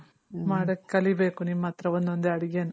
ಮಾಡಕ್ ಕಲಿಬೇಕು ನಿಮ್ ಅತ್ರ ಒಂದ್ ಒಂದೇ ಅಡ್ಗೆನ